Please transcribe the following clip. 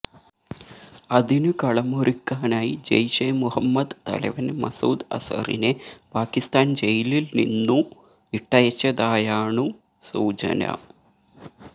അതിനു കളമൊരുക്കാനായി ജയ്ഷെ മുഹമ്മദ് തലവന് മസൂദ് അസറിനെ പാകിസ്താന് ജയിലില്നിന്നു വിട്ടയച്ചതായാണു സൂചന